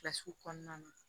Kilasi kɔnɔna na